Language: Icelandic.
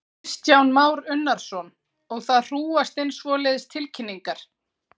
Kristján Már Unnarsson: Og það hrúgast inn svoleiðis tilkynningar?